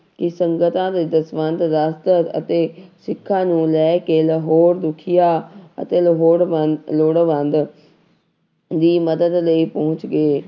ਕਿ ਸੰਗਤਾਂ ਨੇ ਦਸਵੰਧ ਰਾਸ਼ਦ ਅਤੇ ਸਿੱਖਾਂ ਨੂੰ ਲੈ ਕੇ ਲਾਹੌਰ ਦੁਖੀਆਂ ਅਤੇ ਲੋੜਵੰ ਲੋੜਵੰਦ ਦੀ ਮਦਦ ਲਈ ਪਹੁੰਚ ਗਏ।